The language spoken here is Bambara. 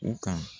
U ka